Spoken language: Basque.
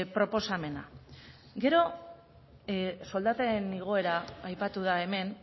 proposamena gero soldaten igoera aipatu da hemen